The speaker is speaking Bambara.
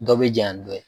Dɔ bɛ janya ni dɔ ye